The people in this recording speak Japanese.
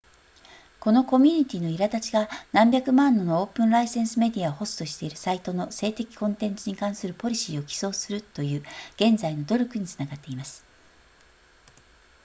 このコミュニティの苛立ちが何百万ものオープンライセンスメディアをホストしているサイトの性的コンテンツに関するポリシーを起草するという現在の努力につながっています